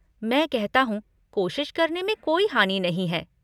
मैं कहता हूँ, कोशिश करने में कोई हानि नहीं है।